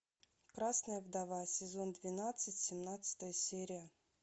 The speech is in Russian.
красная вдова сезон двенадцать семнадцатая серия